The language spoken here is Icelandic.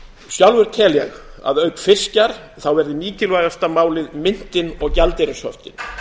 sjálfur tel ég að auk fiskjar verði mikilvægasta málið myntin og gjaldeyrishöftin